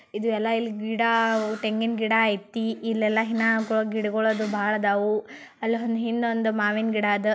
ಇದು ಎಲ್ಲಾ ಇಲ್ಲಿ ಗಿಡ ತೆಂಗಿನ ಗಿಡ್ಡ ಐತಿ ಇಲ್ಲೆಲಲ್ ಗಿಡ್ಡ ಬಹಳ ಇದವು ಹಿಂದ ಒಂದು ಮಾವಿನ ಗಿಡ್ಡ ಆದವು.